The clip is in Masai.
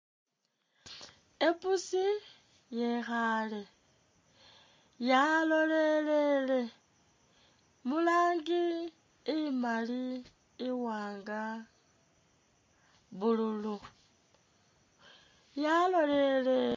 I pussi yekhale, ya lolelele, mu rangi imali,i wanga, blue lu, ya lolelele.